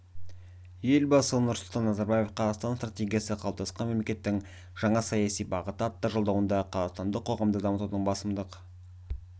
елбасы нұрсұлтан назарбаев қазақстан стратегиясы қалыптасқан мемлекеттің жаңа саяси бағыты атты жолдауында қазақстандық қоғамды дамытудың басымдық